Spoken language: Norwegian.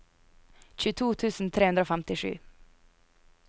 tjueto tusen tre hundre og femtisju